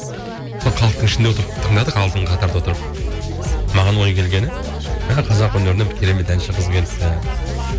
сол халықтың ішінде отырып тыңдадық алдыңғы қатарда отырып маған ой келгені мә қазақ өнеріне бір керемет әнші қыз келіпті